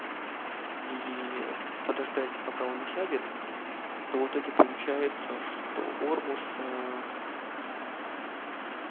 и подождать пока он осядет то в итоге получается что ормуз